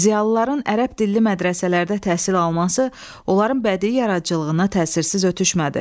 Ziyalıların ərəb dilli mədrəsələrdə təhsil alması onların bədii yaradıcılığına təsirsiz ötüşmədi.